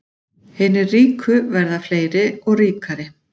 Hinir ríku verða fleiri og ríkari